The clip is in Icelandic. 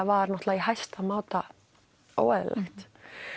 var náttúrulega í hæsta máta óeðlilegt